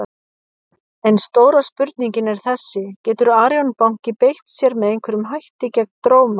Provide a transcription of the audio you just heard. En stóra spurningin er þessi: Getur Arion banki beitt sér með einhverjum hætti gegn Dróma?